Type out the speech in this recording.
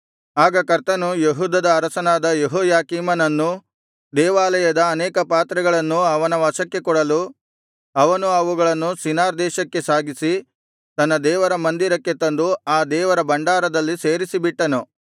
ಆಗ ಕರ್ತನು ಯೆಹೂದದ ಅರಸನಾದ ಯೆಹೋಯಾಕೀಮನನ್ನೂ ದೇವಾಲಯದ ಅನೇಕ ಪಾತ್ರೆಗಳನ್ನೂ ಅವನ ವಶಕ್ಕೆ ಕೊಡಲು ಅವನು ಅವುಗಳನ್ನು ಶಿನಾರ್ ದೇಶಕ್ಕೆ ಸಾಗಿಸಿ ತನ್ನ ದೇವರ ಮಂದಿರಕ್ಕೆ ತಂದು ಆ ದೇವರ ಭಂಡಾರದಲ್ಲಿ ಸೇರಿಸಿಬಿಟ್ಟನು